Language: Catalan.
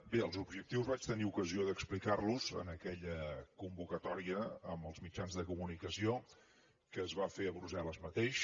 bé els objectius vaig tenir ocasió d’explicar los en aquella convocatòria amb els mitjans de comunicació que es va fer a brussel·les mateix